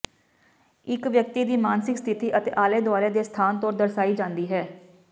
ਇੱਕ ਵਿਅਕਤੀ ਦੀ ਮਾਨਸਿਕ ਸਥਿਤੀ ਆਲੇ ਦੁਆਲੇ ਦੇ ਸਥਾਨ ਤੋਂ ਦਰਸਾਈ ਜਾਂਦੀ ਹੈ